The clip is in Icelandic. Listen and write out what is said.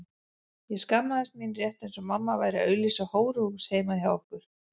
Ég skammaðist mín rétt eins og mamma væri að auglýsa hóruhús heima hjá okkur.